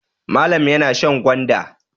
Malam yana shan gwanda.